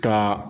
Ka